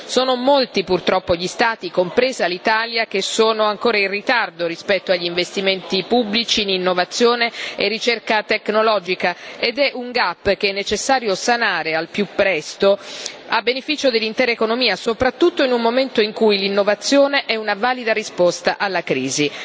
Sono molti, purtroppo, gli Stati compresa l'Italia che sono ancora in ritardo rispetto agli investimenti pubblici in innovazione e ricerca tecnologica ed è un gap che è necessario sanare al più presto a beneficio dell'intera economia, soprattutto in un momento in cui l'innovazione è una valida risposta alla crisi.